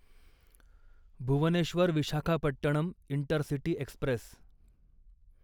Bhubaneswar Visakhapatnam intercity Express